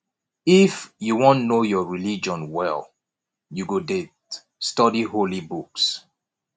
if you wan know your religion well you go det study holy book